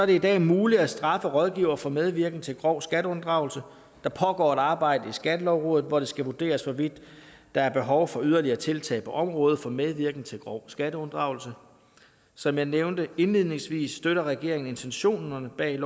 det i dag er muligt at straffe rådgivere for medvirken til grov skatteunddragelse og der pågår et arbejde i skattelovrådet hvor det skal vurderes hvorvidt der er behov for yderligere tiltag på området for medvirken til grov skatteunddragelse som jeg nævnte indledningsvis støtter regeringen intentionerne bag